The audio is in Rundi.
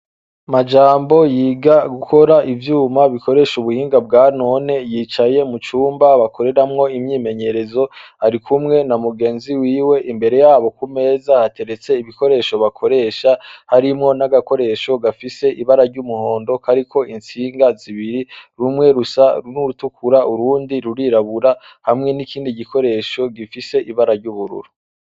Majambo yiga gukora ivyuma bikoresha ubuhinga bwa none yicaye mu cumba bakoreramwo imyimenyerezo ari kumwe na mugenzi wiwe imbere yabo ku meza hateretse ibikoresho bakoresha harimwo n'agakoresho gafise ibara ry'umuhondo kariko intsinga zibiri rumwe rusa nurutukura urundi rurirabura hamwe n'ikindi gikoresho gifise ibara ry'ubururu.